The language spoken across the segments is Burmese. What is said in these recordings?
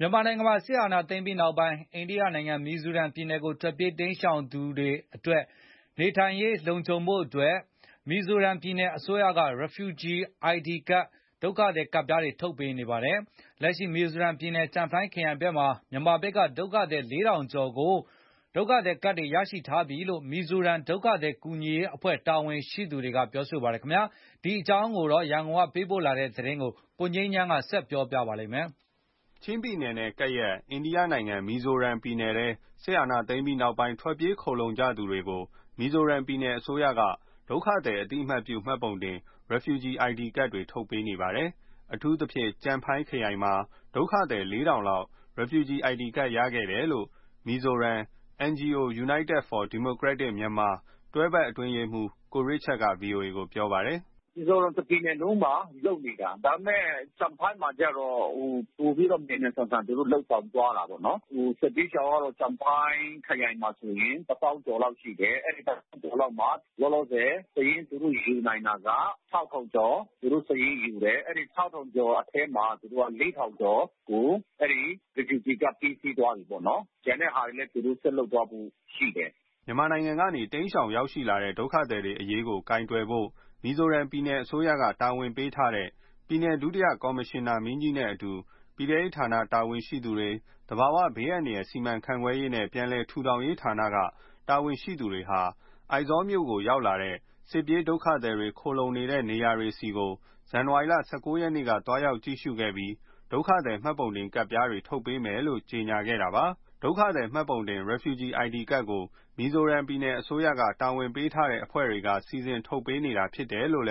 မြန်မာနိုင်ငံမှာ စစ်အာဏာသိမ်းပြီးနောက်ပိုင်း အိန္ဒိယနိုင်ငံ၊ မီဇိုရမ်ပြည်နယ်ကို ထွက်ပြေးတိမ်းရှောင်သူတွေအတွက် နေထိုင်ရေးလုံခြုံဖို့ မီဇိုရမ်ပြည်နယ်အစိုးရက Refugee ID ကဒ်တွေ ထုတ်ပေးနေပါတယ်။ လက်ရှိ မီဇိုရမ် ပြည်နယ်၊ ကျန်ဖိုင်းခရိုင်ဘက်မှာ မြန်မာဘက်က ဒုက္ခသည် ၄,၀၀၀ ကျော် ID ကဒ် ရထားပြီလို့ မီဇိုရမ် ဒုက္ခသည်ကူညီရေးအဖွဲ့ တာဝန်ရှိသူတွေက ပြောပါတယ်။ ဒီအကြောင်း ရန်ကုန်ကပေးပို့လာတဲ့သတင်းကို ကိုငြိမ်းချမ်းက တင်ပြပေးထားပါတယ်။ ချင်းပြည်နယ်နဲ့ကပ်နေတဲ့ အိန္ဒိယနိုင်ငံ မီဇိုရမ်ပြည်နယ်ထဲ စစ်အာဏာသိမ်းပြီးနောက်ပိုင်း ထွက်ပြေးခိုလှုံကြသူတွေကို မီဇိုရမ် ပြည်နယ်အစိုးရက ဒုက္ခသည်အသိအမှတ်ပြုမှတ်ပုံတင် Refugee ID ကဒ်တွေ ထုတ်ပေးနေပါတယ်။ အထူးသဖြင့် ကျန်ဖိုင်း ခရိုင်မှာ ဒုက္ခသည် ၄,၀၀၀ လောက် Refugee ID ကဒ် ရရှိခဲ့တယ်လို့ မီဇိုရမ် NGO United for Democratic Myanmar တွဲဖက်အတွင်းရေးမှူး ကိုရစ်ချတ် က ဗွီအိုအေကိုပြောပါတယ်။ “သူတို့တပြည်နယ်လုံးမှာလုပ်နေတာ။ ဒါပေမယ့် ကျန်ဖိုင်းမှာကျတော့ ပိုပြီးတော့မြန်မြန်ဆန်ဆန် လုပ်ဆောင်သွားတာပေါ့နော်။ စစ်ဘေးရှောင်တွေကျတော့ ကျန်ဖိုင်းခရိုင်မှာဆိုရင် တသောင်းကျော်လောက်ရှိတယ်။ အဲဒီ တသောင်းကျော်ကျော်လောက်မှာ လောလောဆယ် သူတို့စာရင်းယူနိုင်တာက ကျော်။ ကျော်ထဲမှာ ကျော်ကို အဲဒီ Refugee ကဒ်ပေးပြီးသွားပြီပေါ့နော်။ ကျန်တဲ့ဟာတွေလည်း ဆက်လုပ်သွားဖို့ရှိတယ်။” မြန်မာနိုင်ငံကနေ တိမ်းရှောင်ရောက်လာတဲ့ ဒုက္ခသည်တွေအရေးကို ကိုင်တွယ်ဖို့ မီဇိုရမ်ပြည်နယ်အစိုးရက တာဝန်ပေးထားတဲ့ ပြည်နယ်ဒုတိယ ကော်မရှင်နာမင်းကြီးနဲ့အတူ ပြည်ထဲရေးဌာနတာဝန်ရှိသူတွေ၊ သဘာဝဘေးအန္တရာယ် စီမံခန့်ခွဲရေးနဲ့ ပြန်လည်ထူထောင်ရေးဌာနက တာဝန်ရှိသူတွေဟာ အိုက်ဇောမြို့ရောက် စစ်ပြေး ဒုက္ခသည်တွေ ခိုလှုံနေတဲ့နေရာတွေဆီ ဇန်နဝါရီလ ၁၉ ရက်က သွားရောက်ကြည့်ရှုခဲ့ပြီး ဒုက္ခသည် မှတ်ပုံတင်ကဒ်ပြားတွေ ထုတ်ပေးမယ် လို့ ကြေညာခဲ့တာပါ။ ဒုက္ခသည်များမှတ်ပုံတင် Refugee ID ကဒ်ကို မီဇိုရမ်ပြည်နယ်အစိုးရက တာဝန်ပေးထားတဲ့အဖွဲ့တွေကနေ စီစဉ်ထုတ်ပေးနေတာဖြစ်တယ်လို့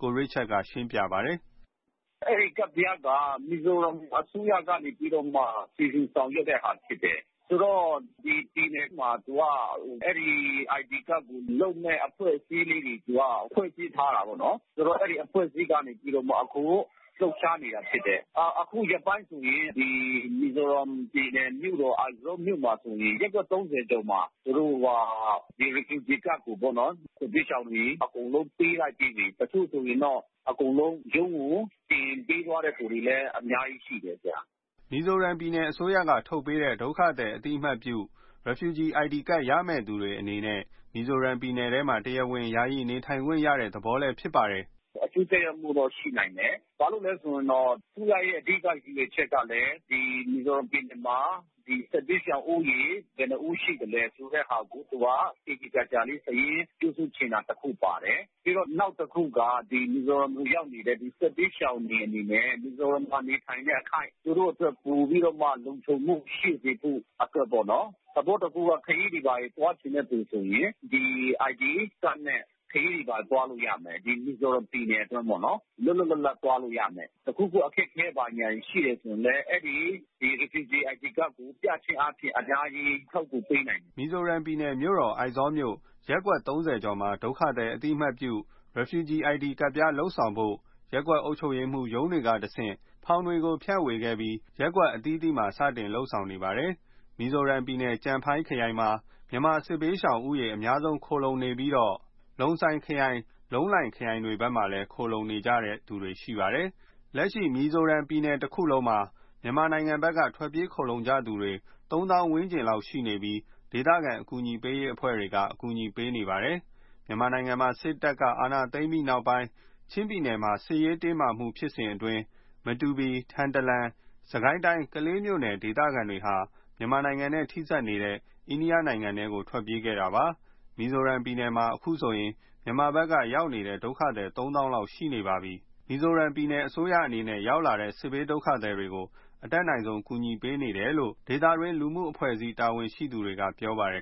ကိုရစ်ချတ်က ရှင်းပြပါတယ်။ “အဲဒီကဒ်ပြားက မီဇိုရမ်အစိုးရက နေပြီးတော့မှ စီစဉ်ဆောင်ရွက်တဲ့ဟာဖြစ်တယ်။ ဒီပြည်နယ်မှာသူက အဲဒီ ID ကဒ်ကို လုပ်မယ့်အဖွဲ့အစည်းလေးတွေ သူကခွင့်ပြုထားတယ်ပေါ့နော်။ ဆိုတော့ အဲဒီအဖွဲ့အစည်းလေးကနေပြီးတော့အခု လှုပ်ရှား နေတာဖြစ်တယ်။ အခုရက်ပိုင်းဆိုရင် မီဇိုရမ်ပြည်နယ်မြို့တော် အိုက်ဇောလ်မြို့မှာဆိုရင် ရပ်ကွက် ၃၀ ကျော်မှာ သူတို့က ဒီ Refugee ကဒ်ကိုပေါ့နော်။ စစ်ဘေးရှောင်တွေအကုန်လုံးပေးလိုက်ပြီးပြီ။ အခုဆိုရင်တော့ အကုန်လုံး ရုံးကို တင်ပေးတဲ့သူတွေလည်း အများကြီးရှိတယ်။” မီဇိုရမ်ပြည်နယ်အစိုးရက ထုတ်ပေးတဲ့ ဒုက္ခသည်အသိအမှတ်ပြု Refugee ID ကဒ်ရမယ့်သူတွေအနေနဲ့ မီဇိုရမ် ပြည်နယ်ထဲမှာ တရားဝင် ယာယီ နေထိုင်ခွင့်ရတဲ့သဘောဖြစ်ပါတယ်။ “အကျိုးသက်ရောက်မှုတော့ရှိနိုင်တယ်။ အစိုးရရဲ့အဓိကရည်ရွယ်ချက်ကလည်း ဒီမီဇိုရမ်ပြည်နယ်မှာ စစ်ဘေးရှောင်ဦးရေ ဘယ်နှစ်ဦးရှိသလဲ ဆိုတဲ့ဟာကို သူက သေသေချာချာလေး စာရင်းပြုစုချင်တာတခုပါတယ်။ ပြီးတော့ နောက်တခု က ဒီမီဇိုရမ်ကိုရောက်နေတဲ့ စစ်ဘေးရှောင်တွေ အနေနဲ့ မီဇိုရမ်မှာနေထိုင်တဲ့အခိုက် သူတို့အတွက်ပိုပြီးတော့မှ လုံခြုံမှု ရှိစေဖို့ပေါ့နော်။ သဘောတခုက ခရီးတွေဘာတွေ သွားချင်တဲ့သူဆိုရင် ဒီ ID ကဒ်နဲ့ ခရီးတွေဘာတွေ သွား လို့ရမယ်။ ဒီမီဇိုရမ်ပြည်နယ်အတွင်းပေါ့နော်။ လွတ်လွတ်လပ်လပ်သွားလို့ရမယ်။ တခုခုအခက်ခဲ ဘာညာ တွေ ရှိတယ်ဆိုရင်လည်း အဲဒီ Refugee ID ကဒ်ကိုပြခြင်းအားဖြင့် အများကြီး အထောက်အကူပေးနိုင်တယ်။” မီဇိုရမ်ပြည်နယ် မြို့တော်အိုင်ဇောလ်မြို့ ရပ်ကွက် ၃၀ ကျော်မှာ ဒုက္ခသည်အသိအမှတ်ပြု Refugee ID ကဒ်ပြား လုပ်ဆောင်ဖို့ ရပ်ကွက် အုပ်ချုပ်ရေးရုံးကတဆင့် ဖောင်တွေဖြန့်ဝေခဲ့ပြီး ရပ်ကွက်အသီးသီးမှာ စတင်လုပ် ဆောင်နေတာဖြစ်ပါတယ်။ မီဇိုရမ်ပြည်နယ် ကျန်ဖိုင်းခရိုင်မှာ မြန်မာစစ်ဘေးရှောင်ဦးရေအများစု ခိုလှုံနေကြပြီး ကျန်တဲ့ လုံဆိုင်ခရိုင် လုံးလိုင်ခရိုင်တွေ ဘက်မှာလည်း ခိုလှုံနေကြပါတယ်။ လက်ရှိမီဇိုရမ်ပြည်နယ်မှာ မြန်မာနိုင်ငံဘက်က ထွက်ပြေးခိုလှုံနေကြသူတွေ မီဇိုရမ် တပြည်နယ်လုံးမှာတော့ သုံးသောင်းဝန်းကျင်လောက်ရှိနေပြီး ဒေသခံ ကူညီပေးအဖွဲ့တွေက အကူညီပေးနေကြပါတယ်။ မြန်မာနိုင်ငံမှာ စစ်တပ်ကအာဏာသိမ်းပြီးနောက်ပိုင်းနဲ့ ချင်းပြည်နယ်စစ်ရေးတင်းမာမှုဖြစ်စဉ်အတွင်း မတူပီ၊ ထန်တလန်၊ စစ်ကိုင်းတိုင်းကလေးမြို့နယ်က ဒေသခံတွေဟာ မြန်မာနိုင်ငံနဲ့ ထိစပ်နေတဲ့ အိန္ဒိယနိုင်ငံထဲကို ထွက်ပြေးခဲ့ကြတာပါ။ မီဇိုရမ်ပြည်နယ်မှာ အခုဆိုရင် မြန်မာဘက်က ရောက်နေတဲ့ ဒုက္ခသည် ၃ သောင်းလောက်ရှိနေကြပါတယ်။ မီဇိုရမ်ပြည်နယ်အစိုးရအနေနဲ့ ရောက်ရှိလာတဲ့ စစ်ဘေးဒုက္ခသည်တွေကို အတတ်နိုင်ဆုံး ကူညီဆောင်ရွက်ပေးနေတယ်လို့ ဒေသတွင်းလူမှုအဖွဲ့အစည်း တာဝန်ရှိသူတွေကပြောပါတယ်